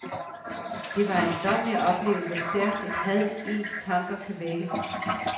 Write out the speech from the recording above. Det var ejendommeligt at opleve, hvor stærkt et had ens tanker kan vække.